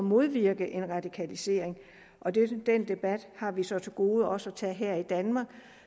modvirke en radikalisering den debat har vi så til gode også at tage her i danmark